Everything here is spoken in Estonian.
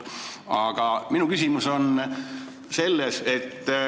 " Aga minu küsimus on selline.